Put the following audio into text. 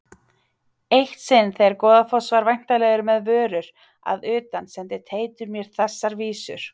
Eitt sinn þegar Goðafoss var væntanlegur með vörur að utan sendi Teitur mér þessar vísur